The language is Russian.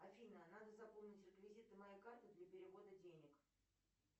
афина надо заполнить реквизиты моей карты для перевода денег